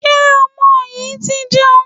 Ṣé ọmọ yìí ti jẹun?